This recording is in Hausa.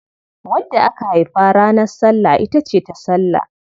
Wadda aka haifa ranar Sallah ita ce Tasallah.